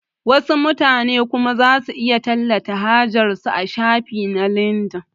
Wasu mutanen kuma zasu iya tallata hajar su a shafin su na lindin